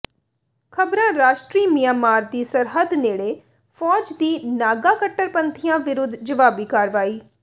ਖ਼ਬਰਾਂ ਰਾਸ਼ਟਰੀ ਮਿਆਂਮਾਰ ਦੀ ਸਰਹੱਦ ਨੇੜੇ ਫ਼ੌਜ ਦੀ ਨਾਗਾ ਕੱਟੜਪੰਥੀਆਂ ਵਿਰੁਧ ਜਵਾਬੀ ਕਾਰਵਾਈ